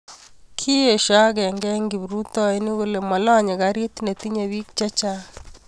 kiet agenge eng' kiprutoinik kole malanye karit ne tinyei biik che chang'